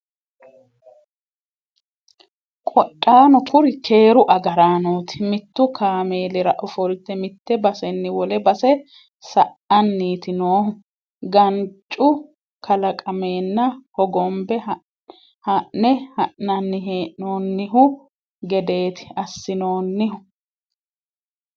Qodhano kuri keeru agaranoti mitu kaameelira ofolte mite baseni wole base sa"aniti noohu gancu kalaqamenna hogombe ha'ne ha'nanni hee'noonihu gedeti assinonihu.